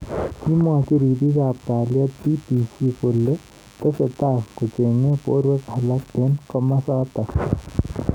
Kamwochi ribik ab kaliet BBC kole tesetai kochengei borwek alak eng kimosatak.